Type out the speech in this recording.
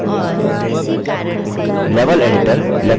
level editor lecture का level प्रदर्शित करता है